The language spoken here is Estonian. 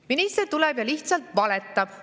Minister tuleb ja lihtsalt valetab.